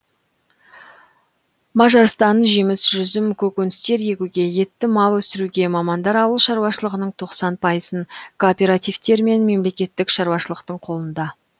мажарстан жеміс жүзім көкөністер егуге етті мал өсіруге мамандар ауыл шаруашылығының тоқсан пайызын кооперативтер мен мемлекеттік шаруашылықтың қолында